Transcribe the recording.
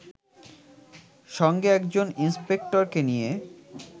সঙ্গে একজন ইন্সপেক্টরকে নিয়ে